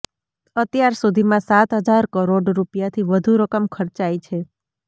અત્યાર સુધીમાં સાત હજાર કરોડ રૂપિયાથી વધુ રકમ ખર્ચાઈ છે